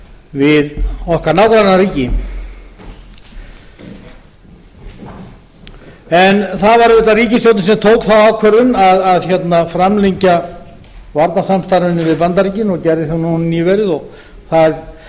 við nágrannaríki okkar það var auðvitað ríkisstjórnin sem tók þá ákvörðun að framlengja varnarsamstarfið við bandaríkin núna nýverið og það er